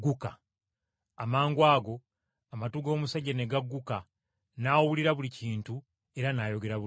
Amangwago amatu g’omusajja ne gagguka n’awulira buli kintu era n’ayogera bulungi!